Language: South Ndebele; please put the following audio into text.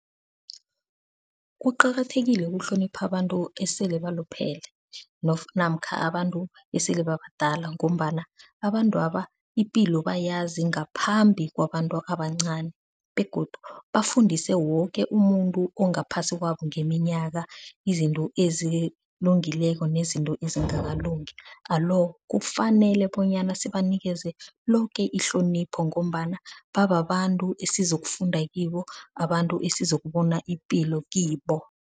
Kuqakathekile ukuhlonipha abantu esele baluphele namkha abantu esele babadala ngombana abantwaba ipilo bayazi ngaphambi kwabantu abancani. Begodu bafundise woke umuntu ongaphasi kwabo ngeminyaka izinto ezilungileko nezinto ezingakalungi. Alo kufanele bonyana sibanikele loke ihlonipho ngombana babantu esizokufunda kibo, abantu esizokubona ipilo kibo.